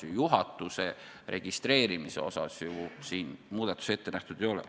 Juhatuse registreerimisel siin ju muudatusi ette nähtud ei ole.